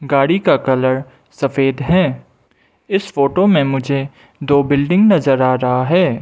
गाड़ी का कलर सफेद है इस फोटो में मुझे दो बिल्डिंग नजर आ रहा है।